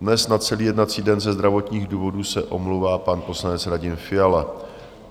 Dnes na celý jednací den ze zdravotních důvodů se omlouvá pan poslanec Radim Fiala.